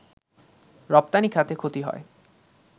রপ্তানি খাতে ক্ষতি হয়